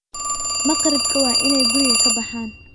Makhribka waa inay guriga ka baxaan.